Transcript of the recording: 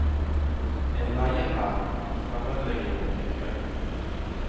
En leiehær, en fremmedlegion til kjøp.